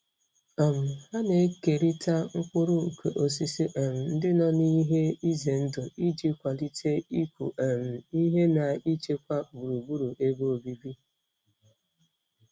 um Ha na-ekerịta mkpụrụ nke osisi um ndị nọ n'ihe ize ndụ iji kwalite ịkụ um ihe na ichekwa gburugburu ebe obibi.